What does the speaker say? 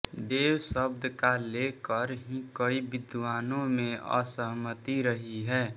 देव शब्द का लेकर ही कई विद्वानों में असहमति रही है